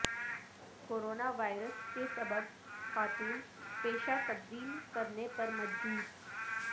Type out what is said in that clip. corona virus کے سبب خاتون پیشہ تبدیل کرنے پر مجبور